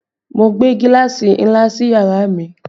Mo gbé gíláàsì ńlá sí yàrá mi